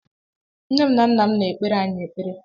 Nne m na nna m na-ekpere anyị ekpere